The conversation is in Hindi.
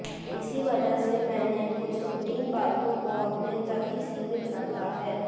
इसी वजह से मैंने कुछ रूटीन बातों को अपने तक ही सीमित रखा है